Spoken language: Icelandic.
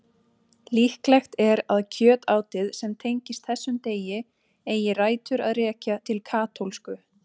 Líklegt er að kjötátið sem tengist þessum degi eigi rætur að rekja til katólsku.